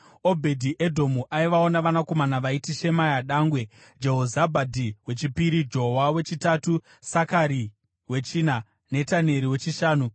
Obhedhi-Edhomu aivawo navanakomana vaiti: Shemaya dangwe, Jehozabhadhi wechipiri, Joa wechitatu, Sakari wechina, Netaneri wechishanu,